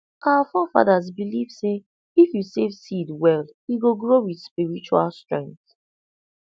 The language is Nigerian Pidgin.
our forefathers believe say if you save seed well e go grow with spiritual strength